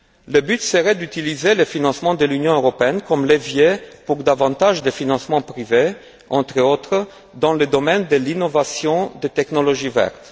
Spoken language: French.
Le but serait d'utiliser le financement de l'Union européenne comme levier pour obtenir davantage de financements privés, entre autres, dans le domaine de l'innovation des technologies vertes.